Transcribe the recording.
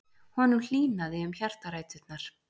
Honum hlýnaði um hjartaræturnar.